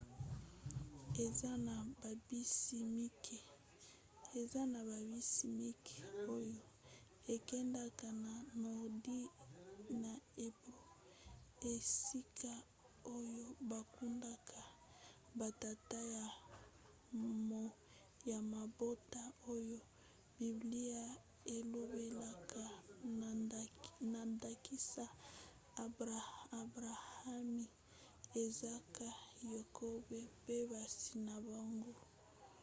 eza na babisi mike oyo ekendaka na nordi na hebron esika oyo bakundaka batata ya mabota oyo biblia elobelaka na ndakisa abrahami izaka yakobo pe basi na bango